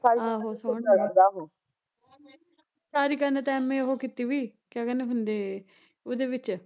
ਆਹੋ ਸੋਹਣਾ ਐ ਸਾਰਿਕਾ ਨੇ ਤਾਂ MA ਓਹ ਕੀਤੀ ਵੀ, ਕਿਆ ਕਹਿੰਦੇ ਹੁੰਦੇ ਉਹਦੇ ਵਿੱਚ